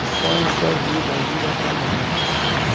O sonho é a sua vida, a vida é o trabalho.